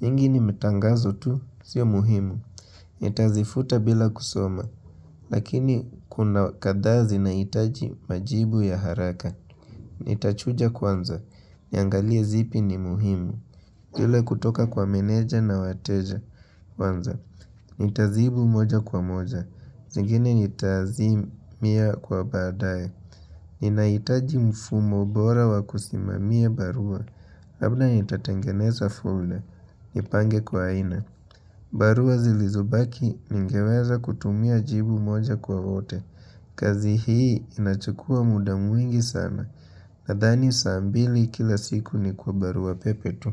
Nyingi ni matangazo tu. Sio muhimu. Nitazifuta bila kusoma. Lakini kuna kadhaa zinahitaji majibu ya haraka. Itachuja kwanza. Niangalie zipi ni muhimu. Ile kutoka kwa meneja na wateja kwanza. Itazibu moja kwa moja. Zingine itazimia kwa badae. Ni nahitaji mfumo bora wa kusimamia barua Labda ni tatengeneza fule Nipange kwa aina barua zilizobaki ningeweza kutumia jibu moja kwa wote kazi hii inachukua muda mwingi sana Nadhani saa mbili kila siku ni kwa barua pepe tu.